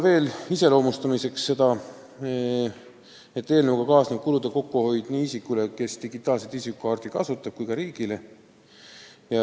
Eelnõu iseloomustamiseks veel nii palju, et sellega kaasneb kulude kokkuhoid nii isikule, kes digitaalset isikukaarti kasutab, kui ka riigile.